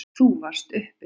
Þú varst uppi.